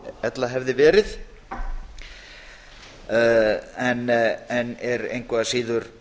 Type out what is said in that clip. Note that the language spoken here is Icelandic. ella hefði verið en er engu að síður